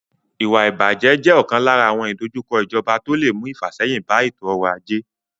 Ìwà ìbàjẹ́ jẹ́ ọ̀kan lára àwọn ìdojúkọ ìjọba tó lè mú ìfàsẹ́yìn bá ètò ọrọ̀ ajé.